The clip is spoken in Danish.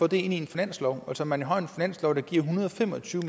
det ind en finanslov altså man har jo en finanslov der giver en hundrede og fem og tyve